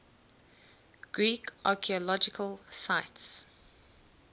greek archaeological sites